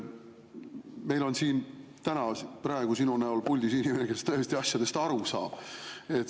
Meil on siin praegu sinu näol puldis inimene, kes tõesti asjadest aru saab.